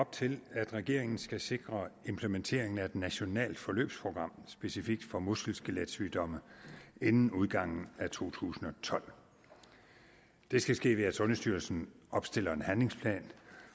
op til at regeringen skal sikre implementeringen af et nationalt forløbsprogram specifikt for muskel skelet sygdomme inden udgangen af to tusind og tolv det skal ske ved at sundhedsstyrelsen opstiller en handlingsplan